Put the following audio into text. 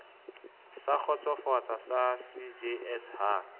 sa kgotsofatseng ya cjs ha